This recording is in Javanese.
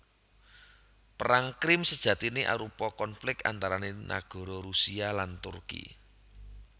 Perang Krim sejatiné arupa konflik antarané nagara Rusia lan Turki